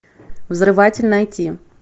взрыватель найти